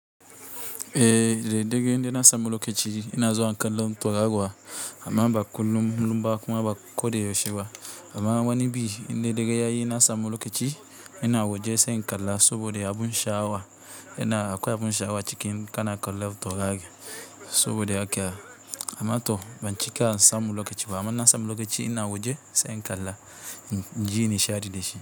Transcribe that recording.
Eh, da daddare inde na samu lokaci ina zowa kalan toraruwa amma ba kullum lumba kuma ba kode yosheba. Amma wani bi, in de dere yayi na samu lokaci ina waje sai in kala sobode abun sha'awa ina akwai abun sha wa cikin kana kalan taurari sobode haka. Amma to bancika na samu lokaci ba amma na samu lokaci ina waje sai in kala. Inji nishaɗi da shi.